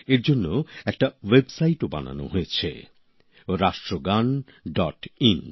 এর জন্য একটা ওয়েবসাইটও বানানো হয়েছে রাষ্ট্রগানডটইন